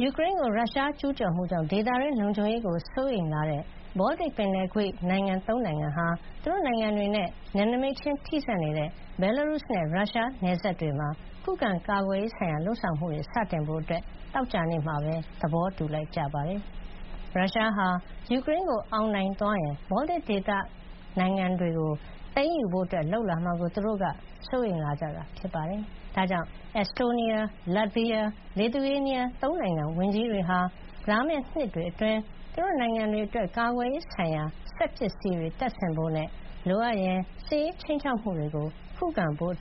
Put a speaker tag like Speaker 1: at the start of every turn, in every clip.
Speaker 1: ယူကရိန်းကို ရုရှားကျူးကျော်မှုကြောင့် ဒေသတွင်း လုံခြုံရေးကို စိုးရိမ်လာတဲ့ ဘောလတစ်ပင်လယ်ကွေ့ ၃ နိုင်ငံဟာ သူတို့နိုင်ငံတွေနဲ့ နယ်နိမိတ်ချင်း ထိစပ်နေတဲ့ ဘယ်လာရုစ်နဲ့ ရုရှား နယ်စပ်တွေမှာ ခုခံကာကွယ်ရေးဆိုင်ရာ လုပ်ဆောင်မှုတွေ စတင်ဖို့ သောကြာနေ့မှာ သဘောတူလိုက်ကြပါတယ်။ ရုရှားဟာ ယူကရိန်းကိုအောင်နိုင်သွားရင် ဘောလတစ်ဒေသတွင်းက နိုင်ငံတွေကို သိမ်းယူဖို့ လုပ်လာမှာကို သူတို့ စိုးရိမ်လာကြတာ ဖြစ်ပါတယ်။ ဒါကြောင့် Estonia ၊ Latvia န့ Lithuania ၃ နိုင်ငံ ဝန်ကြီးတွေဟာ လာမယ့် နှစ်တွေအတွင်း သူတို့နိုင်ငံတွေ အတွက် ကာကွယ်ရေးဆိုင်ရာ စက်ပစ္စည်းတွေ တပ်ဆင်ဖို့နဲ့ လိုအပ်ရင် စစ်ရေးခြိမ်းခြောက်မှုတွေကို ခုခံဖို့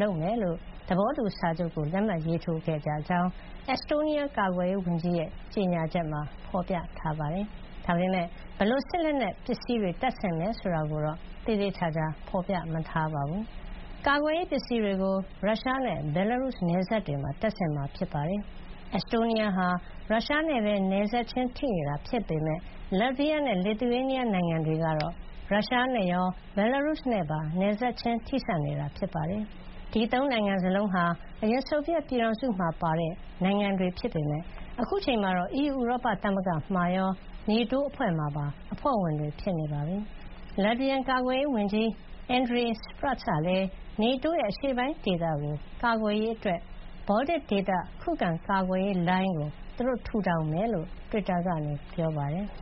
Speaker 1: လုပ်မှာ ဖြစ်ကြောင်း သဘောတူစာချုပ်ကို လက်မှတ်ရေးထိုးခဲ့တယ်လို့ Estonia ကာကွယ်ရေးဝန်ကြီးရဲ့ ကြေညာချက်မှာ ဖေါ်ပြထားပါတယ်။ ဒါပေမယ့် ဘယ်လို စစ်လက်နက် ပစ္စည်းတွေ တပ်ဆင်မယ်ဆိုတာကိုတော့ သေသေချာချာ ဖေါ်ပြ မထားပါဘူး။ ကာကွယ်ရေး ပစ္စည်းတွေကို ရုရှားနဲ့ ဘယ်လ်လာရုစ် နယ်စပ်တွေမှာ တပ်ဆင်မှာ ဖြစ်ပါတယ်။ Estonia ဟာ ရုရှားနဲ့ပဲ နယ်စပ်ချင်း ထိနေတာ ဖြစ်ပေမယ့် Latvia နဲ့ Lithuania နိုင်ငံတွေကတော့ ရုရှားနဲ့ရော၊ ဘယ်လ်လာရုစ် နဲ့ပါ နယ်စပ်ထိစပ်နေတာပါ။ ဒီ ၃ နိုင်ငံ စလုံးဟာ အရင် ဆိုဗီယက် ပြည်ထောင်စု မှာပါတဲ့ နိုင်ငံတွေ ဖြစ်ပေမယ့် အခုအချိန်မှာတော့ အီးယူ ဥရောပသမဂ္ဂ မှာရော NATO အဖွဲ့မှာပါ အဖွဲ့ဝင်တွေ ဖြစ်နေပါပြီ။ Latvian ကာကွယ်ရေးဝန်ကြီး Andris Spruds ကလည်း NATO ရဲ့ အရှေ့ပိုင်းဒေသ ကို ကာာကွယ်ရေးအတွက် ဘောလတစ် ဒေသ ခုခံကာကွယ်ရေး လိုင်းကို သူတို့ ထူထောင်မှာ ဖြစ်ကြောင်း တွစ်တာကနေ ပြောပါတယ်။